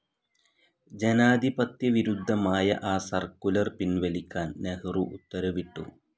ജനാധിപത്യ വിരുദ്ധമായ ആ സർക്കുലർ പിൻവലിക്കാൻ നെഹ്‌റു ഉത്തരവിട്ടു.